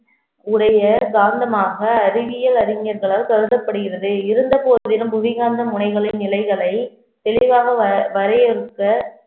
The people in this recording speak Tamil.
உடைய காந்தமாக அறிவியல் அறிஞர்களால் கருதப்படுகிறது இருந்த போதிலும் புவிகாந்த முனைகளின் நிலைகளை தெளிவாக வ~ வரையறுக்க